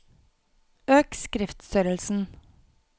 Øk skriftstørrelsen